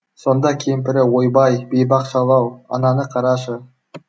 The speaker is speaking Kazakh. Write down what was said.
сонда кемпірі ойбай бейбақ шал ау ананы қарашы